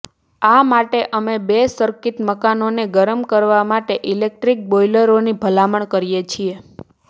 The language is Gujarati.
આ માટે અમે બે સર્કિટ મકાનને ગરમ કરવા માટે ઇલેક્ટ્રિક બોઇલરોની ભલામણ કરીએ છીએ